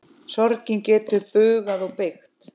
Sorgin getur bugað og beygt.